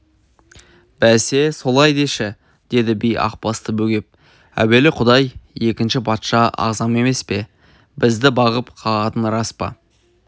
бәсе солай деші деді би ақбасты бөгеп әуелі құдай екінші патша ағзам емес пе бізді бағып-қағатын рас па